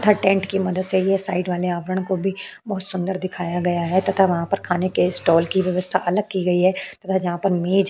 tent की मदद से ये साइड वाले आवरण को बी बोहोत सुंदर दिखाया गया है तथा वहाँ पर खाने के स्टॉल की व्यवस्था अलग की गई है तथा जहाँ पर मेज --